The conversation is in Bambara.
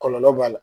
Kɔlɔlɔ b'a la